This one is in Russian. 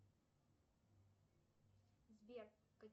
сбер